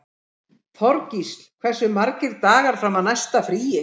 Þorgísl, hversu margir dagar fram að næsta fríi?